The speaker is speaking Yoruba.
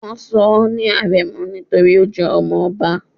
wón sò ní arémò nítorí o jé ọmọ obá